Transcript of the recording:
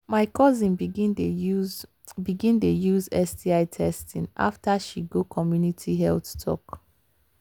my cousin begin dey use begin dey use sti testing after she go community health talk.